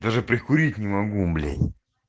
даже прикурить не могу блять